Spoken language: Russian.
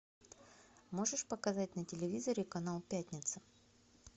можешь показать на телевизоре канал пятница